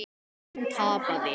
Hún tapaði.